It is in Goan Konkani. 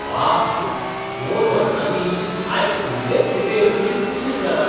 वा, दोन वर्सांनी आयज पयलेच खेपे बशीक उशीर जाला.